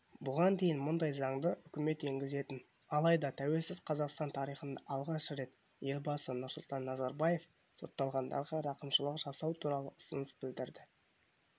бұған дейін мұндай заңды үкімет енгізетін алайда тәуелсіз қазақстан тарихында алғаш рет елбасы нұрсұлтан назарбаев сотталғандарға рақымшылық жасау туралы ұсыныс білдірді